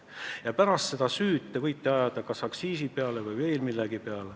Ja pärast seda võite te süüd ajada kas aktsiiside peale või veel millegi peale.